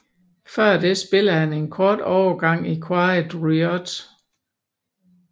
Før det spillede han en kort overgang i Quiet Riot